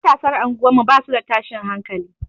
Matasan unguwar mu basu da tashin hankali.